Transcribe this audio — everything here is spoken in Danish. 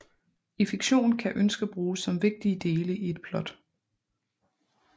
I fiktion kan ønsker bruges som vigtige dele i et plot